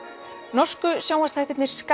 norsku sjónvarpsþættirnir